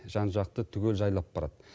жан жақты түгел жайлап барады